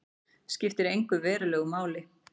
Skiptir verulegu máli